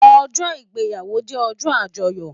Òjò igbéyàwó jè òjò ájòyò